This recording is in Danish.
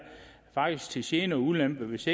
faktisk til gene og ulempe hvis